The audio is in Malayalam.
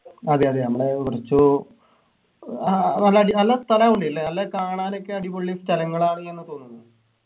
അതെയതെ നമ്മള് കുറച്ചു ആഹ് നല്ല അടി നല്ല സ്ഥലാ ഒന്നില്ലേ നല്ല കാണാനൊക്കെ അടിപൊളി സ്ഥലങ്ങളാണ് എന്ന് തോന്നുന്നു